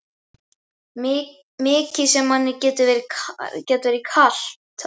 Mikið sem manni gat verið kalt á